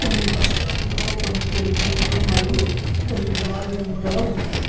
పసుపు రంగులో కొన్ని తెలుపు రంగులో మరియు కొన్ని గులాబీ రంగులలో ఉన్నాయి.